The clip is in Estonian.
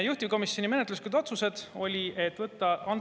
Juhtivkomisjoni menetluslikud otsused olid.